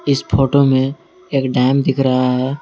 इस फोटो में एक डैम दिख रहा है।